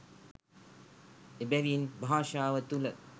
එබැවින් භාෂාව තුළ